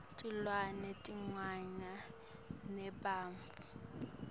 tilwane tiyafana nebantfu